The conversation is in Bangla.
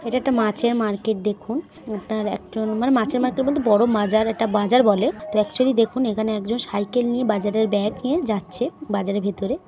এটা একটা মাছের মার্কেট দেখুন মানে মাছের মার্কেট বলতে বড় মাজার এটা বাজার বলে একচুয়ালি দেখুন এখানে একজন সাইকেল নিয়ে বাজারের ব্যাগ নিয়ে যাচ্ছে বাজারের ভেতরে।